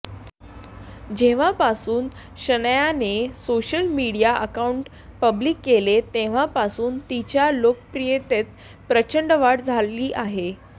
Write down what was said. जेव्हापासून शनायाने social media account public केले तेव्हापासून तिच्या लोकप्रियतेत प्रचंड वाढ झाली आहे